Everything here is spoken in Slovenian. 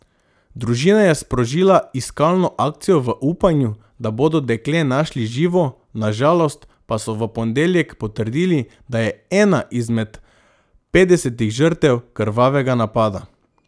Družina je sprožila iskalno akcijo v upanju, da bodo dekle našli živo, na žalost pa so v ponedeljek potrdili, da je ena izmed petdesetih žrtev krvavega napada.